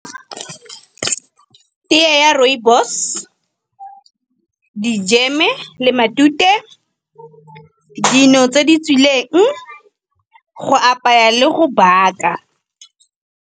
Teye ya rooibos, dijeme le matute, dino tse di tswileng, go apaya le go baka.